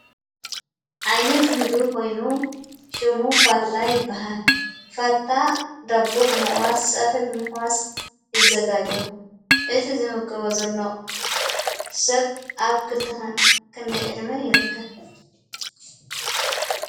ዓይነት ምግቢ ኾይኑ ሽሙ ፋታ የበሃል ፋታ ዳቦ ብምቝራስ ሰብሒብምሕዋስ የዘጋጎ እቲ ዝምገቦ ዘሎ ሰብ ኣብ ክንደይዕድሚን ይርከብ